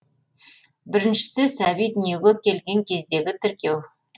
біріншісі сәби дүние келген кездегі тіркеу